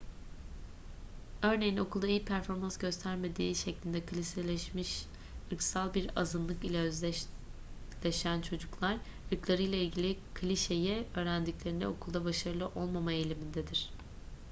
örneğin okulda iyi performans göstermediği şeklinde klişeleşmiş ırksal bir azınlık ile özdeşleşen çocuklar ırklarıyla ilgili klişeyi öğrendiklerinde okulda başarılı olmama eğilimindedir